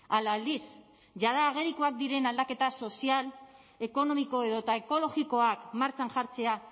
ala aldiz jada agerikoak diren aldaketa sozial ekonomiko edota ekologikoak martxan jartzea